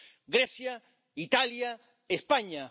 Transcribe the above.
Grecia, Italia, España.